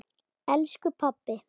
elsku pabbi.